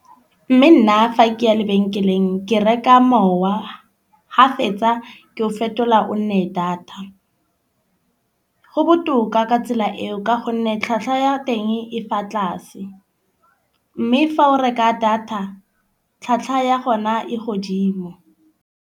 Mme nna fa ke ya lebenkeleng ke reka mowa, ha fetsa ke o fetola o nne data go botoka ka tsela eo. Ka gonne tlhwatlhwa ya teng e fa tlase. Mme fa o reka data tlhwatlhwa ya gona e godimo.